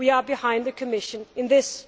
We are behind the Commission in this.